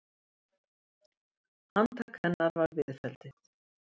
Handtak hennar var viðfelldið.